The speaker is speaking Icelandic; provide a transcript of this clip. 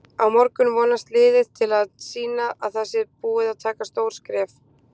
Á morgun vonast liðið til að sýna að það sé búið að taka stór skref.